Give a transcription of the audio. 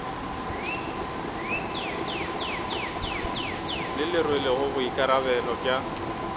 le le rwelego boikarabelo bja